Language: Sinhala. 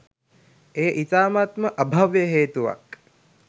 එය ඉතාමත් ම අභව්‍ය හේතුවක්